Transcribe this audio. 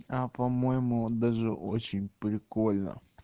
а по-моему даже очень прикольно